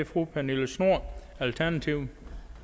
fru pernille schnoor alternativet